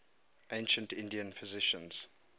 ancient indian physicians